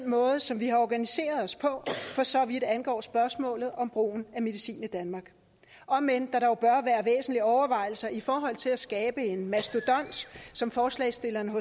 måde som vi har organiseret os på for så vidt angår spørgsmålet om brugen af medicin i danmark om end der dog bør være væsentlige overvejelser i forhold til at skabe en mastodont som forslagsstillerne